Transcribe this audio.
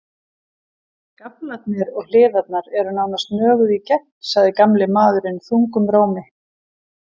Gaflarnir og hliðarnar eru nánast nöguð í gegn, sagði gamli maðurinn þungum rómi.